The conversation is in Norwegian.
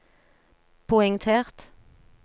poengtert